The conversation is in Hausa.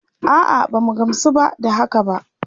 A'a, ba mu gamsu ba da haka ba.